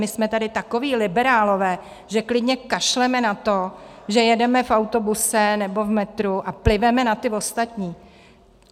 My jsme tady takoví liberálové, že klidně kašleme na to, že jedeme v autobuse nebo v metru a pliveme na ty ostatní.